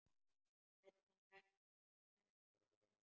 Edda hrekkur við.